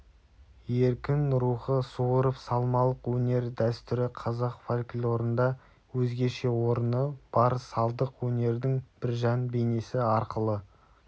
еркін рухы суырыпсалмалық өнер дәстүрі қазақ фольклорында өзгеше орны бар салдық өнердің біржан бейнесі арқылы